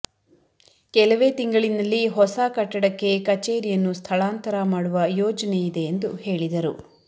ಕೆಲವೇ ತಿಂಗಳಿನಲ್ಲಿ ಹೊಸ ಕಟ್ಟಡಕ್ಕೆ ಕಚೇರಿಯನ್ನು ಸ್ಥಳಾಂತರ ಮಾಡುವ ಯೋಜನೆ ಇದೆ ಎಂದು ಹೇಳಿದರು